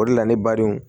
O de la ne badenw